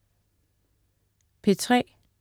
P3: